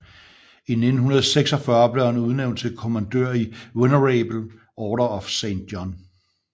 I 1946 blev han udnævnt til kommandør i Venerable Order of Saint John